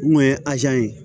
Mun ye ye